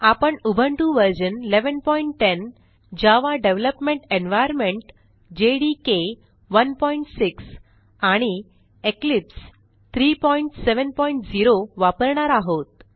आपण Ubuntu version 1110 Java development environment JDK 16 आणि Eclipse 370 वापरणार आहोत